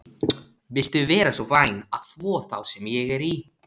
Viltu vera svo væn að þvo þá sem ég er í?